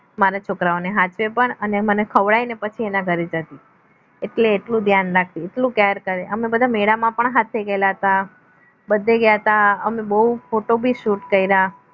મારા છોકરાઓને સાચવે પણ અને મને ખવડાવીને પછી એના ઘરે જ હતી એટલે આટલું ધ્યાન રાખતી એટલો care કરે અમે લોકો મેળામાં પણ સાથે ગયેલા હતા બધે ગયા હતા અમે બો photo shoot કર્યા